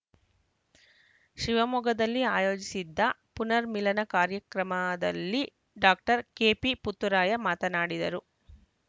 ಶಿವಮೊಗ್ಗದಲ್ಲಿ ಆಯೋಜಿಸಿದ್ದ ಪುನರ್ಮಿಲನ ಕಾರ್ಯಕ್ರಮದಲ್ಲಿ ಡಾಕ್ಟರ್ ಕೆಪಿ ಪುತ್ತೂರಾಯ ಮಾತನಾಡಿದರು